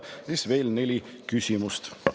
Peale selle on meil veel neli küsimust.